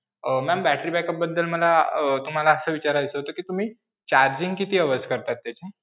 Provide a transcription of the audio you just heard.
अं ma'am battery backup बद्दल मला अं तुम्हाला असं विचारायचं होत कि तुम्ही charging किती hours करता त्याचे?